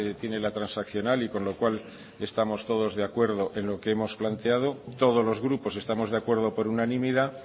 tiene la transaccional y con lo cual estamos todos de acuerdo en lo que hemos planteado todos los grupos estamos de acuerdo por unanimidad